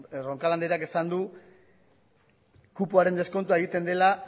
roncal andreak esan du kupoaren deskontua egiten dela